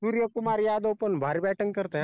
सूर्य कुमार यादव पण भारी bating करतय